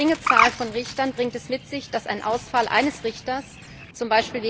Die geringe Zahl von Richtern bringt es mit sich, dass ein Ausfall eines Richters, z.